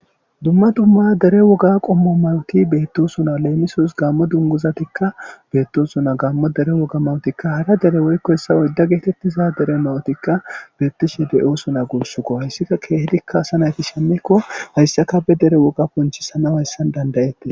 Dumma dummaya dere woga qommo mawti beetto suna leemisos gaammo dunguzatikka beetto suna gaammo dere woga mawotikka hara dere woykko hessa oydda geetettiza dere mawutikka beettishe de7osuna guussuko hayssika keehedikka asa nayti shemekko hayssaka be dere woga ponchisana hayssan dandayette.